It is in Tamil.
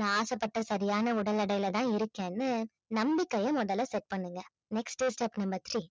நான் ஆசைப்பட்ட சரியான உடல் எடையில தான் இருக்கேன்னு நம்பிக்கைய முதல்ல set பண்ணுங்க next step number three